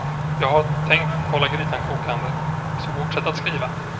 Jag har tänkt hålla grytan kokande, så fortsätt att skriva.